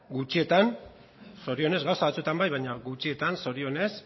gutxietan zorionez gauza batzuetan bai baina gutxietan zorionez